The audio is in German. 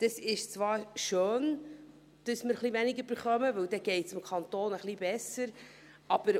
Es ist zwar schön, dass wir weniger erhalten, denn es heisst, dass es dem Kanton etwas besser geht.